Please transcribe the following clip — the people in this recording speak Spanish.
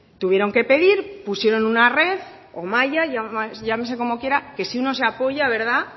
tuvieron que pedir pusieron una red o malla llamase como quiera que si uno se apoya verdad